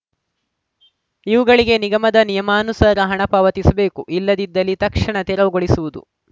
ಇವುಗಳಿಗೆ ನಿಗಮದ ನಿಯಮಾನುಸಾರ ಹಣ ಪಾವತಿಸಬೇಕು ಇಲ್ಲದಿದ್ದಲ್ಲಿ ತಕ್ಷಣ ತೆರವುಗೊಳಿಸುವುದು